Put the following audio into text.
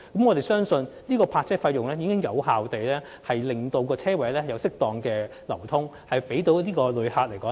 我們相信有關的泊車費已能有效令泊車位出現適當流轉，方便旅客使用。